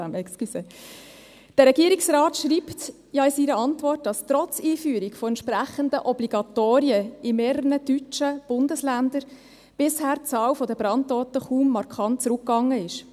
Der Regierungsrat schreibt in seiner Antwort, dass trotz der Einführung entsprechender Obligatorien in mehreren deutschen Bundesländern die Zahl der Brandtoten bisher kaum markant zurückgegangen sei.